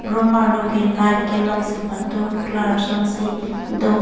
room arlo ke light kelok si patur klar sonsi do.